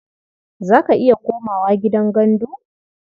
Za ka iya komawa gidan gandu?